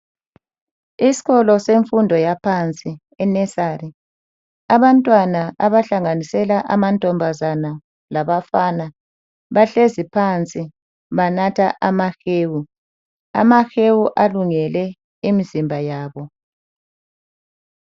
Isikolo semfundo yaphansi e nursery abantwana abahlanganisela amamantombazana labafana bahlezi phansi banatha amahewu ,amahewu alungele imizimba yabo .